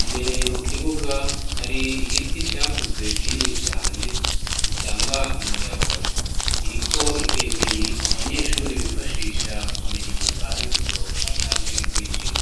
,imbere mu kibuga hari igiti cakuze kinini cane gitanga umuyaga ,kiriko ikengeri abanyeshure bifashisha kumenya amasaha yo gusohoka canke yo kwinjira.